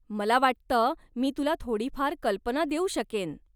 मला वाटतं मी तुला थोडीफार कल्पना देऊ शकेन.